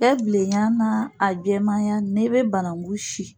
Ɛ bilenya n'a a jɛmanya n'i be bananku si